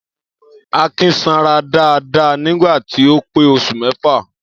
Akin sanra dáadáa nígbà tí ó pé os̩ù mé̩fà